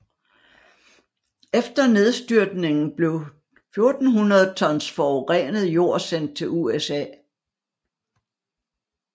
Efter nedstyrtningen blev 1400 tons forurenet jord sendt til USA